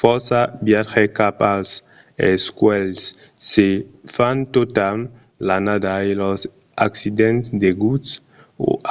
fòrça viatges cap als escuèlhs se fan tota l'annada e los accidents deguts